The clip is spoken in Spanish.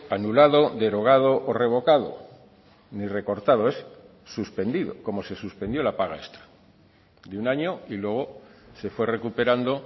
anulado derogado o revocado ni recortado es suspendido como se suspendió la paga extra de un año y luego se fue recuperando